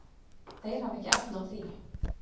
Þeir hafa ekki efni á því.